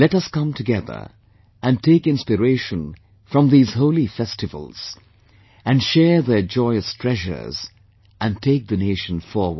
Let us come together and take inspiration from these holy festivals and share their joyous treasures, and take the nation forward